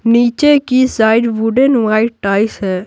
नीचे की side wooden white tiles है।